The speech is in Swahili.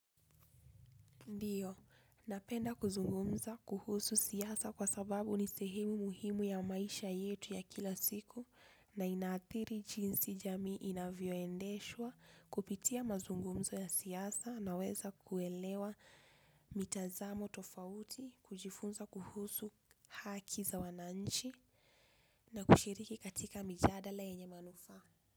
Ndiyo, napenda kuzungumza kuhusu siasa kwa sababu ni sehemu muhimu ya maisha yetu ya kila siku na inaadhiri jinsi jamii inavyoendeshwa kupitia mazungumzo ya siasa na weza kuelewa mitazamo tofauti kujifunza kuhusu haki za wananchi na kushiriki katika mijadala yenye manufaa.